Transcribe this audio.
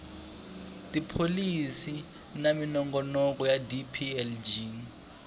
tipholisi na minongonoko ya dplg